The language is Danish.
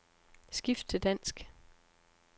Skift til dansk.